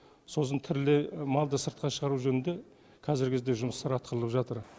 сосын тірілей малды сыртқа шығару жөнінде қазіргі кезде жұмыстар атқарылып жатыр